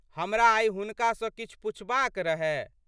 हमरा आइ हुनका सँ किछु पुछबाक रहए।